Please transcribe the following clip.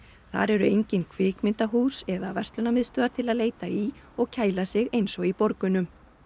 þar eru engin kvikmyndahús eða til að leita í og kæla sig eins og í borgunum